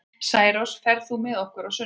Særós, ferð þú með okkur á sunnudaginn?